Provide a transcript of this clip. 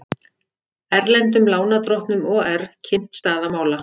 Erlendum lánardrottnum OR kynnt staða mála